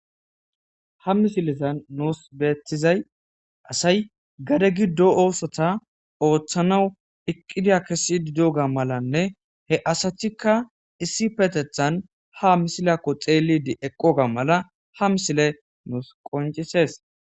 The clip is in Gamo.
Ha misilezan nusi betizay asayi gade gidon osota otanawu iqidiya kesididiyoga malane he asatika issippetetani ha misileka xelidi eqoga mala ha misile nusi qonccises